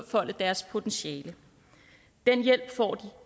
deres potentiale den hjælp får de